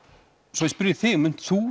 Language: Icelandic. svo ég spyrji þig munt þú